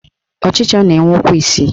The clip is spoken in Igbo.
Ọchịcha na-enwe ụkwụ isii